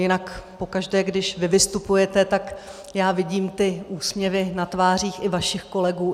Jinak pokaždé, když vy vystupujete, tak já vidím ty úsměvy na tvářích i vašich kolegů.